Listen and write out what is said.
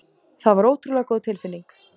Það var ótrúlega góð tilfinning.